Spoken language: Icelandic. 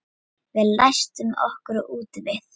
Við læstum okkur úti við